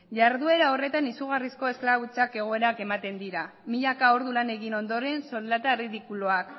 jarduera horretan izugarrizko esklabutza egoerak ematen dira milaka ordu lan egin ondoren soldata ridikuloak